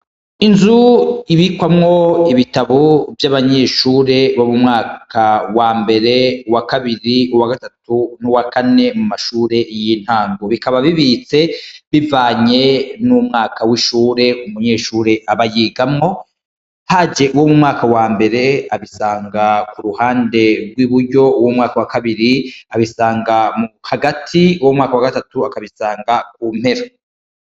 Inzu ibikwamwo ibitabo vy'abanyeshure bo mu mwaka wa mbere wa kabiri wa gatatu n'uwa kane mu mashure y'intangu .Bikaba bibitse bivanye n'umwaka w'ishure umunyeshure abayigamwo .Haje uwo mu mwaka wa mbere abisanga ku ruhande rw'iburyo w'umwaka wa kabiri abisanga mu hagati wo mumwaka wa gatatu akabisanga ku mpera.